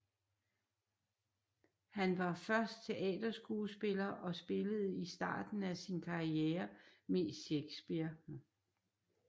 Han var først teaterskuespiller og spillede i starten af sin karriere mest Shakespeare